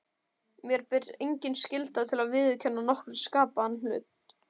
Mér ber engin skylda til að viðurkenna nokkurn skapaðan hlut.